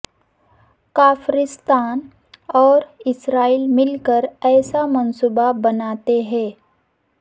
کافرستان اور اسرائیل مل کر ایسا منصوبہ بناتے ہیں